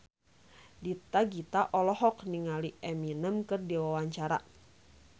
Dewi Gita olohok ningali Eminem keur diwawancara